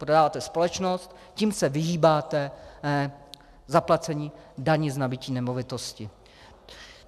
Prodáváte společnost, tím se vyhýbáte zaplacení daně z nabytí nemovitosti.